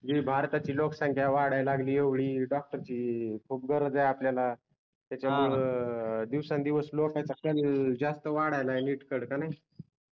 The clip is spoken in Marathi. भारताची लोककसंख्या वाडायला लागली येवडी डॉक्टर चि खुब गरज आहे आपल्याला त्याच्यामुळं दिवसान दिवस लोकांचा स्कॅनल जास्त वाडायला लागली NEET कड का नाही